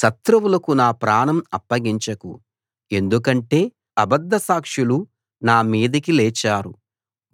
శత్రువులకు నా ప్రాణం అప్పగించకు ఎందుకంటే అబద్ధ సాక్షులు నా మీదకి లేచారు